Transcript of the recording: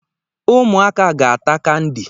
Ụmụ aka ga-ata kandi